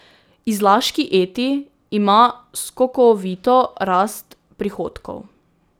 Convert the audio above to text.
Izlaški Eti ima skokovito rast prihodkov.